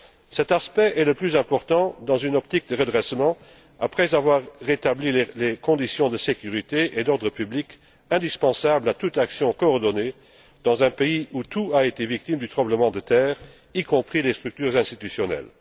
Cet aspect est le plus important si l'on se place dans une optique de redressement après avoir rétabli les conditions de sécurité et d'ordre public indispensables à toute action coordonnée dans un pays où tout a souffert du tremblement de terre, y compris les structures institutionnelles.